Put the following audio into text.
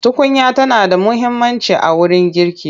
Tukunya tana da muhimmanci a wurin girki.